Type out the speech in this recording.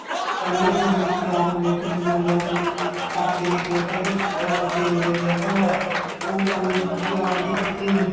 ਕਹਿੰਦੇ ਜਵਾਨੀ ਚ ਪਿਆਰ ਹੋ ਗਿਆ ਸੀ ਬਜੁਲੀਆਂ ਚ ਚਾਚੀ ਨੇ ਕਹਿ ਤਾਂ ਕੀ ਤੇ ਉਹਨੇ ਕਹਿ ਤਾਂ ਉਹ ਗੱਲ ਜਬਾਨ ਦੀ ਪੱਕੀ ਹੁੰਦੀ